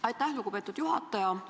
Aitäh, lugupeetud juhataja!